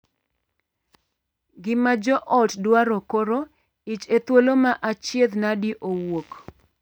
Ngima joot dwaro koro ich e thuolo ma achiedhnade owuok.